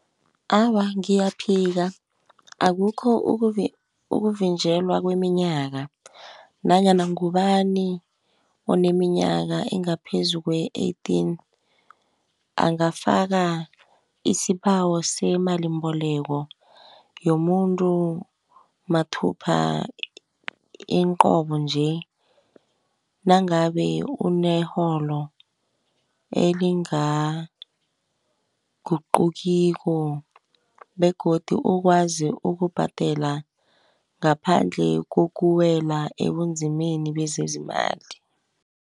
Awa ngiyaphika akukho ukuvinjelwa kweminyaka, nanyana ngubani oneminyaka engaphezu kwe-eighteen angafaka isibawo semalimbeleko, yomuntu mathupha inqobonje nangabe uneholo elingaguqukiwo, begodu ukwazi ukubhadela ngaphandle kokuwela ebunzimeni bezezimali.